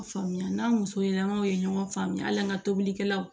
Faamuya n'an muso ye lamɔw ye ɲɔgɔn faamuya hali an ka tobilikɛlaw